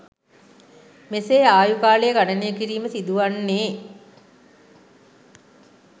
මෙසේ ආයු කාලය ගණනය කිරීම සිදුවන්නේ